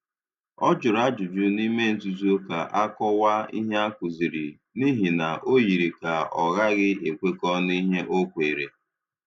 Ọ jụrụ ajụjụ n’ime nzuzo ka a kọwaa ihe a kụziri, n’ihi na o yiri ka ọ ghaghị ekwekọ n’ihe ọ kweere.